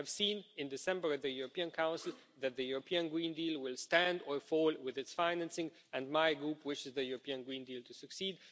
We have seen in December at the European Council that the European Green Deal will stand or fall with its financing, and my group wishes the European Green Deal to succeed.